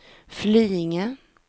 Flyinge